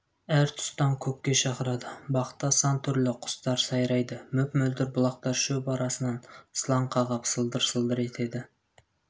әр тұстан көкке шақырады бақта сан түрлі құстар сайрайды мөп-мөлдір бұлақтар шөп арасынан сылаң қағып сылдыр-сылдыр етеді